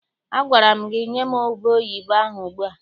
Agwara gị nye m ubeoyibo ahụ ugbu a!